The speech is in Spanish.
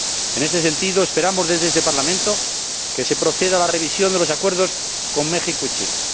En este sentido, esperamos desde este Parlamento que se proceda a la revisión de los acuerdos con México y Chile.